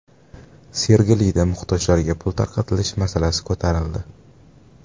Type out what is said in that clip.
Sergelida muhtojlarga pul tarqatilishi masalasi ko‘tarildi.